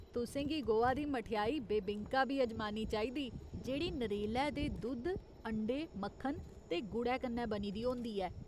तुसें गी गोवा दी मठेआई बेबिंका बी अजमानी चाहिदी जेह्ड़ी नरेलै दे दुद्ध, अंडे, मक्खन ते गुड़ै कन्नै बनी दी होंदी ऐ।